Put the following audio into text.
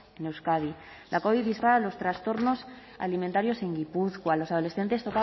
en euskadi la covid dispara los trastornos alimentarios en gipuzkoa los adolescentes